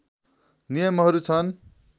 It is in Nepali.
नियमहरू छन्